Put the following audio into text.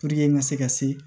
Puruke n ka se ka se